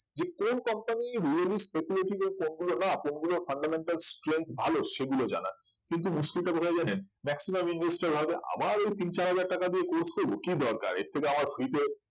যে কোন company really speculity তে কোন গুলো না কোন গুলোর fundamental strength ভালো সেগুলো জানার কিন্তু মুশকিলটা কোথায় জানেন maximum investor ভাবে আবার ওই তিন-চার হাজার টাকা দিয়ে course করব কি দরকার এর থেকে আমার free তে